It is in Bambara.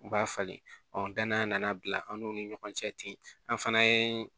U b'a falen ɔ dannaya na bila an n'u ni ɲɔgɔn cɛ ten an fana ye